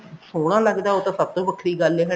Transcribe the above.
ਸੋਹਣਾ ਲੱਗਦਾ ਉਹ ਤਾਂ ਸਭ ਤੋਂ ਵਖਰੀ ਗੱਲ ਐ ਹਨਾ